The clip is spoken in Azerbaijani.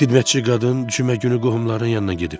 Xidmətçi qadın cümə günü qohumlarının yanına gedib.